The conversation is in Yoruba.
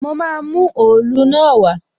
Mo máa mú òòlu náà wá